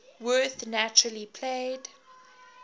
werth naturally played